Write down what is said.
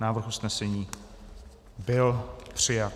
Návrh usnesení byl přijat.